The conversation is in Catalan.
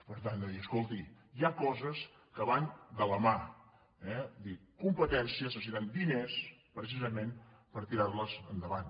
per tant hem de dir escolti hi ha coses que van de la mà eh és a dir les competències necessiten diners precisament per tirar·les endavant